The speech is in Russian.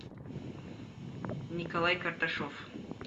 николай карташов